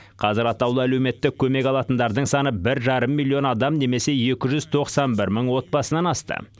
қазір атаулы әлеуметтік көмек алатындардың саны бір жарым миллион адам немесе екі жүз тоқсан бір мың отбасынан асты